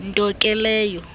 nto ke leyo